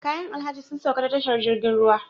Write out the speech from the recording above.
Kayan alhaji sun sauka ta tashar jirgin ruwa